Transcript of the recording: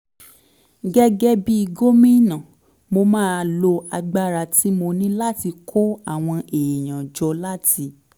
gẹ́gẹ́ bí gómìnà mo máa lo agbára tí mo ní láti kó àwọn èèyàn jọ láti